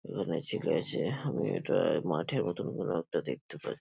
এবার আছি কাছে আমি এটা মাঠের মতন কোনো একটা দেখতে পাচ --